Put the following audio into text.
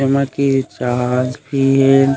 एमा की जहाज भी हे।